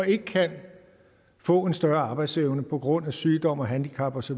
ikke kan få en større arbejdsevne på grund af sygdom handicap osv